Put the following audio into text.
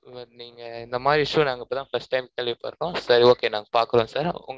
but நீங்க, இந்த மாதிரி issue நாங்க இப்பதான், first time கேள்விப்பற்றோம். சரி, okay நாங்க பார்க்கிறோம், sir உங்க